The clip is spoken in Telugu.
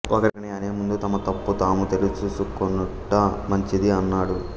ఒకరిని అనే ముందు తమ తప్పు తాము తెలుసుసు కొనుట మంచింది అన్నాడు